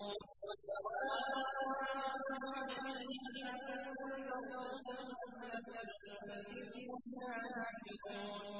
وَسَوَاءٌ عَلَيْهِمْ أَأَنذَرْتَهُمْ أَمْ لَمْ تُنذِرْهُمْ لَا يُؤْمِنُونَ